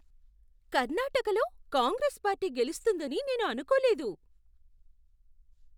కర్ణాటకలో కాంగ్రెస్ పార్టీ గెలుస్తుందని నేను అనుకోలేదు.